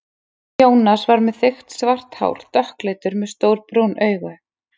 Jónas var með þykkt svart hár, dökkleitur, með stór brún augu.